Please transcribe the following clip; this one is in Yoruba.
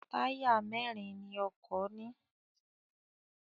Táyà mẹ́rin ni ọkọ̀ ní.